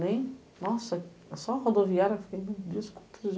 Nossa, é só a rodoviária